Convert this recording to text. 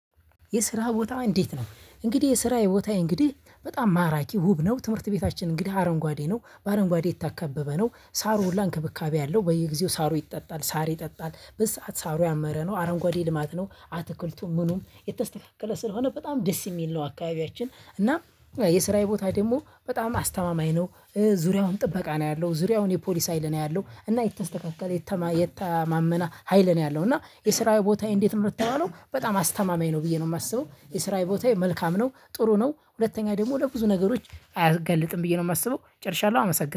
"የስራ ቦታ እንዴት ነው?" እንግዲህ የስራዬ ቦታዬ እንግዲህ በጣም ማራኪ ውብ ነው። ትምህርት ቤታችን እንግዲህ አረንጓዴ ነው። በአረንጓዴ የታከበበ ነው። ሳሩ ሁሉ እንክብካቤ አለው በየጊዜው ሳሩ ይጠጣል ሳር ይጠጣል በዚህ ሰዓት ሳሩ ያመረ ነው። አረንጓዴ ልማት ነው አትክልቱ ምኑም የተስተካከለ ስለሆነ በጣም ደስ የሚል ነው አካባቢያችን እና የስራዬ ቦታ ደግሞ በጣም አስተማማኝ ነው። ዙሪያውን ጥበቃ ነው ያለው ዙሪያውን የፖሊስ ሀይል ነው ያለው። እና የተሰካከለ የተማ የተማመነ ሀይል ነው ያለው እና "የስራዬ ቦታዬ እንዴት ነው ለተባለው?" በጣም አስተማማኝ ነው ብዬ ነው የማስበው። የስራዬ ቦታዬ መልካም ነው፣ ጥሩ ነው። ሁለትኛ ደግሞ ለብዙ ነገሮች አያጋልጥም ብዬ ነው የማስበው ጨርሻለው። አመሰግ